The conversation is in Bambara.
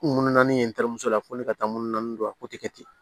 Munu naani ye ntɛɛrɛmuso la ko ne ka taa munu naani don a kɛ ten